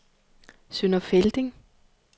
Sønder Felding